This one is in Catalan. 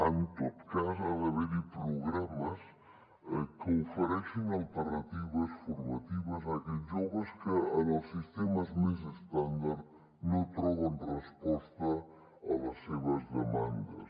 en tot cas ha d’haver hi programes que ofereixin alternatives formatives a aquells joves que en els sistemes més estàndards no troben resposta a les seves demandes